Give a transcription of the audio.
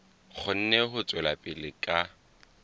kgone ho tswela pele ka